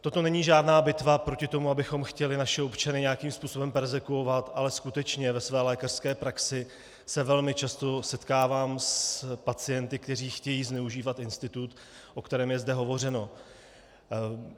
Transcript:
Toto není žádná bitva proti tomu, abychom chtěli naše občany nějakým způsobem perzekvovat, ale skutečně ve své lékařské praxi se velmi často setkávám s pacienty, kteří chtějí zneužívat institut, o kterém je zde hovořeno.